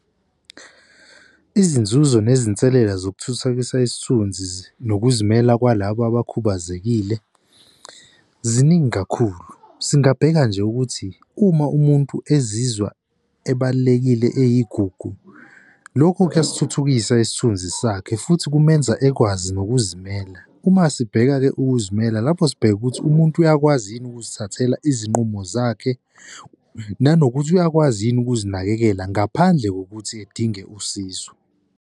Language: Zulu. Izinzuzo nezinselela zokuthuthukisa isithunzi nokuzimela kwalaba abakhubazekile ziningi kakhulu. Singabheka nje ukuthi uma umuntu ezizwa ebalulekile eyigugu, lokho kuyasithuthukisa isithunzi sakhe futhi kumenza ekwazi nokuzimela. Uma sibheka-ke ukuzimela lapho sibheke ukuthi, umuntu uyakwazi yini ukuzithathela izinqumo zakhe, nanokuthi uyakwazi yini ukuzinakekela ngaphandle kokuthi edinga usizo.